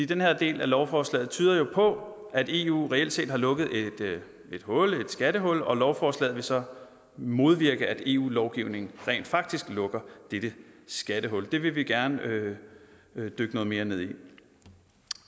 den her del af lovforslaget tyder jo på at eu reelt set har lukket et skattehul og lovforslaget vil så modvirke at eu lovgivningen rent faktisk lukker dette skattehul det vil vi gerne dykke noget mere ned i